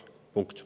Punkt.